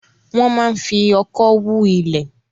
Wọ́n máa ń fi ọ̀kọ́ hu ilẹ̀